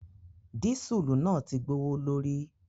Dísùlù náà ti gbowo lórí.